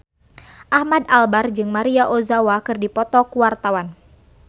Ahmad Albar jeung Maria Ozawa keur dipoto ku wartawan